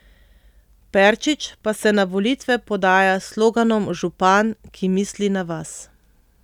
Perčič pa se na volitve podaja s sloganom Župan, ki misli na vas.